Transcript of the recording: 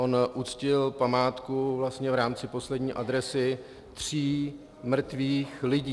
On uctil památku vlastně v rámci Poslední adresy tří mrtvých lidí.